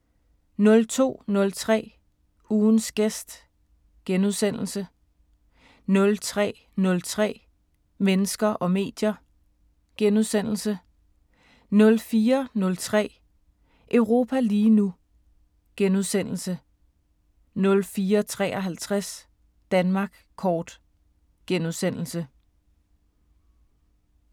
02:03: Ugens gæst * 03:03: Mennesker og medier * 04:03: Europa lige nu * 04:53: Danmark kort *